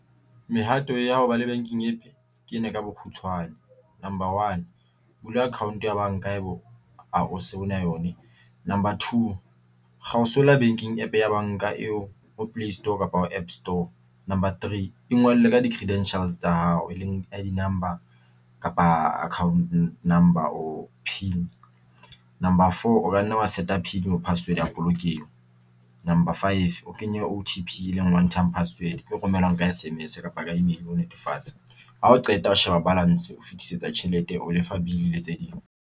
Mehato ya ho ba le banking APP ke ena ka bokgutshwane. Number one, bula account ya banka haebe hao se na yone. Number two, banking APP ya banka eo ho play store kapa ho APP store. Number three, e ngole ka di-credentials tsa hao e leng I_D number kapa account number or pin. Number four, o ka nne wa set pin kapa password ya polokeho. Number five, o kenye O_T_P e leng one time password e romellwang ka S_M_S kapa ka email ho netefatsa hao qeta ho sheba balance e fitisetsa tjhelete, o lefa bill le tse ding.